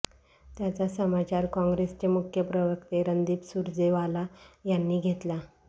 त्याचा समाचार कॉंग्रेसचे मुख्य प्रवक्ते रणदीप सुर्जेवाला यांनी घेतला